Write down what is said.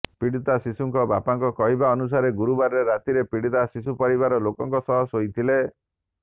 ପୀଡ଼ିତା ଶିଶୁଙ୍କ ବାପାଙ୍କ କହିବା ଅନୁସାରେ ଗୁରୁବାର ରାତିରେ ପୀଡ଼ିତା ଶିଶୁ ପରିବାର ଲୋକଙ୍କ ସହ ଶୋଇଥିଲେ